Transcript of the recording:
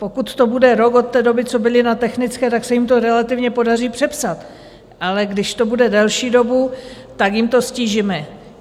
Pokud to bude rok od té doby, co byli na technické, tak se jim to relativně podaří přepsat, ale když to bude delší dobu, tak jim to ztížíme.